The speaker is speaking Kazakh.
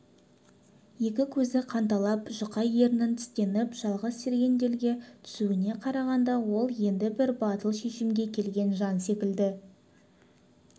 екі көзі қанталап жұқа ернін тістеніп жалғыз сергелдеңге түсуіне қарағанда ол енді бір батыл шешімге келген жан секілді